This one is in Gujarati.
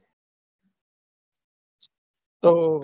તો